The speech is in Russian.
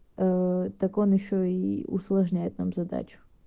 так он ещё и усложняет нам задачу